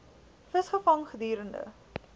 vis gevang gedurende